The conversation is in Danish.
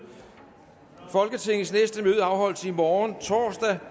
folketingets næste møde afholdes i morgen torsdag